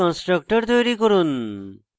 class জন্য constructor তৈরী করুন